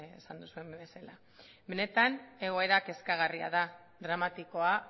esan duzuen bezala benetan egoera kezkagarria da dramatikoa